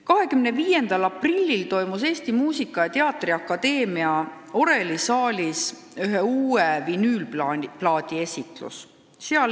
25. aprillil toimus Eesti Muusika- ja Teatriakadeemia orelisaalis uue vinüülplaadi esitlus.